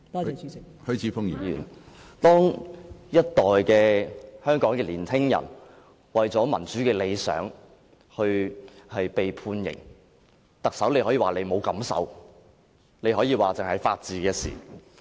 當一代香港年輕人為了民主的理想而被判刑，特首可以說自己沒有感受，她可以說這只是法治的事情。